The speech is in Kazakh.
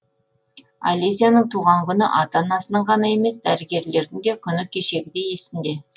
алесяның туған күні ата анасының ғана емес дәрігерлердің де күні кешегідей есінде